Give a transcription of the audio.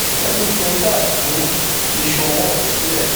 wọn ní kí n ṣáà tú iṣu ọwọ mi sílẹ